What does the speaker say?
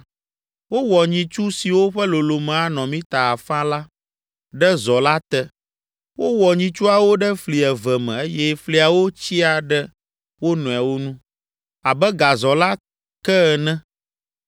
Wowɔ nyitsu siwo ƒe lolome anɔ mita afã la, ɖe zɔ la te. Wowɔ nyitsuawo ɖe fli eve me eye fliawo tsyia ɖe wo nɔewo nu, abe gazɔ la ke ene.